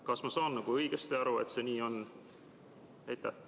Kas ma saan õigesti aru, et see nii on?